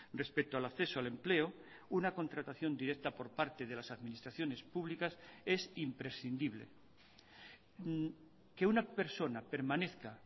respecto al acceso al empleo una contratación directa por parte de las administraciones públicas es imprescindible que una persona permanezca